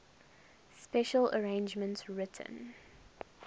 special arrangements written